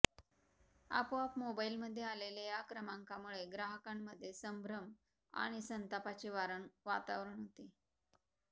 आपोआप मोबाईलमध्ये आलेल्या या क्रमांकामुळे ग्राहकांमध्ये संभ्रम आणि संतापाचे वातावरण होते